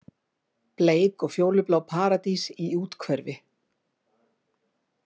Bleik og fjólublá paradís í úthverfi